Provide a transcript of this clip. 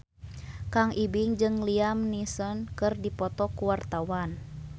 Kang Ibing jeung Liam Neeson keur dipoto ku wartawan